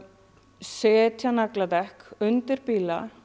setja nagladekk undir bíla